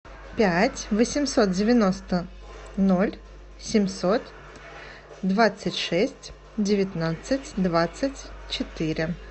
пять восемьсот девяносто ноль семьсот двадцать шесть девятнадцать двадцать четыре